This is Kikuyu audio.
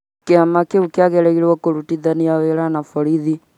Kĩama kĩu kĩagĩrĩrwo kũrutithania wĩra na borithi